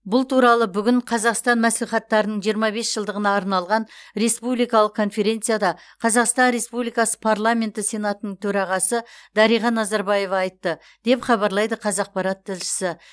бұл туралы бүгін қазақстан мәслихаттарының жиырма бес жылдығына арналған республикалық конференцияда қазақстан республикасы парламенті сенатының төрағасы дариға назарбаева айтты деп хабарлайды қазақпарат тілшісі